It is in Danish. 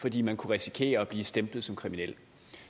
fordi man kunne risikere at blive stemplet som kriminel